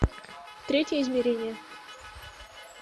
третье измерение